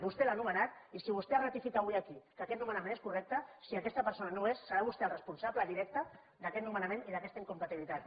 vostè l’ha nomenat i si vostè ratifica avui aquí que aquest nomenament és correcte i si aquesta persona no ho és serà vostè el responsable directe d’aquest nomenament i d’aquesta incompatibilitat